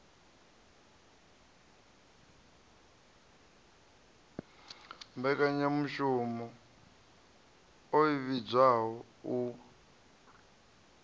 mmbekanyamushumo i vhidzwaho u p